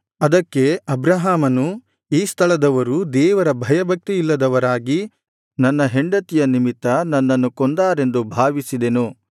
ಅದಕ್ಕೆ ಅಬ್ರಹಾಮನು ಈ ಸ್ಥಳದವರು ದೇವರ ಭಯಭಕ್ತಿ ಇಲ್ಲದವರಾಗಿ ನನ್ನ ಹೆಂಡತಿಯ ನಿಮಿತ್ತ ನನ್ನನ್ನು ಕೊಂದಾರೆಂದು ಭಾವಿಸಿದೆನು